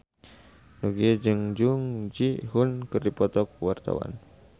Nugie jeung Jung Ji Hoon keur dipoto ku wartawan